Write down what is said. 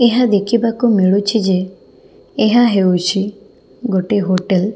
ଏହା ଦେଖିବାକୁ ମିଳୁଛି ଯେ ଏହା ହେଉଛି ଗୋଟେ ହୋଟେଲ ।